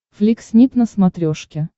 флик снип на смотрешке